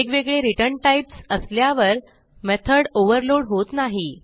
वेगवेगळे return types असल्यावर method overload होत नाही